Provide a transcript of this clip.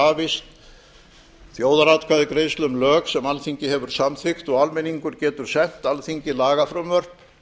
krafist þjóðaratkvæðagreiðslu um lög sem alþingi hefur samþykkt og almenningur getur sent alþingi lagafrumvörp